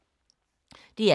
DR K